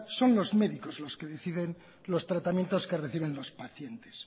son los médicos los que deciden los tratamientos que reciben los pacientes